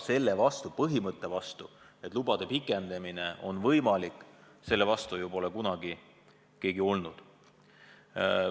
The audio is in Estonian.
Aga põhimõtte vastu, et võimaldada lubade pikenemist, pole ju keegi kunagi olnud.